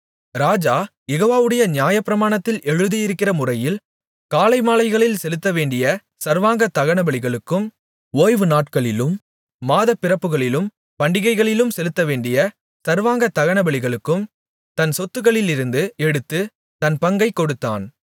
ராஜா யெகோவாவுடைய நியாயப்பிரமாணத்தில் எழுதியிருக்கிறமுறையில் காலைமாலைகளில் செலுத்தவேண்டிய சர்வாங்க தகனபலிகளுக்கும் ஓய்வுநாட்களிலும் மாதப்பிறப்புகளிலும் பண்டிகைகளிலும் செலுத்தவேண்டிய சர்வாங்க தகனபலிகளுக்கும் தன் சொத்துக்களிலிருந்து எடுத்துத் தன் பங்கைக் கொடுத்தான்